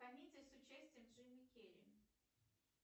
комедия с участием джима керри